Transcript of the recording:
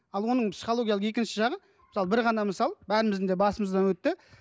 ал оның психологиялық екінші жағы мысалы бір ғана мысал бәріміздің де басымыздан өтті